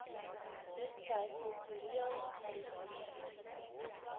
hetsy kultureel gedefinieer